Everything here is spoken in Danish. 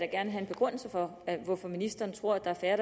gerne have en begrundelse for hvorfor ministeren tror at der er færre